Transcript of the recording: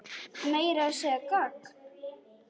Meira að segja gagn.